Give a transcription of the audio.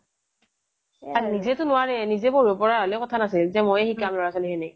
আৰু নিজে তো নোৱাৰেই নিজে পঢ়িব পৰা হলে কথা নাছিল যে ময়েই শিকাম লৰা-ছোৱালী খিনিক